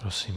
Prosím.